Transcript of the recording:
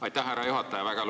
Aitäh, härra juhataja!